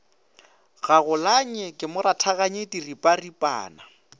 gagolanye ke mo rathaganye diripanaripana